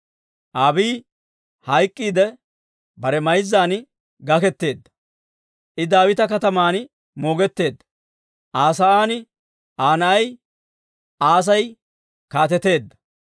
Abiiyi hayk'k'iidde bare mayzzan gaketeedda; I Daawita Kataman moogetteedda. Aa sa'aan Aa na'ay Asay kaateteedda.